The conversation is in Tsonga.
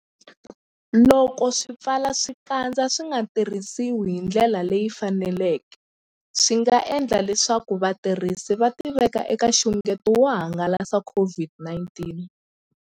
Loko swipfalaxikandza swi nga tirhisiwi hi ndlela leyi faneleke, swi nga endla leswaku vatirhisi va tiveka eka nxungeto wo hangalasa COVID-19.